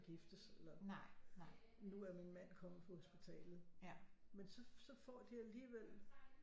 Giftes eller nu er min mand kommet på hospitalet men så får de alligevel